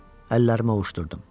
Əllərimi ovuşdurdum.